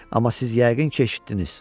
Amma siz yəqin ki, eşitdiniz.